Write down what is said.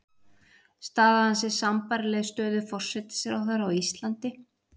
staða hans er sambærileg stöðu forsætisráðherra á íslandi